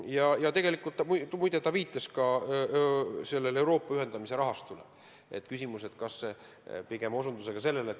Aga tegelikult ta viitas ka Euroopa ühendamise rahastule.